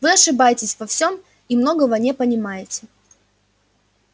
вы ошибаетесь во всём и многого не понимаете